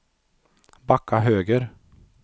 backa höger